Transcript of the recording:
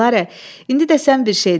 Dilara, indi də sən bir şey de.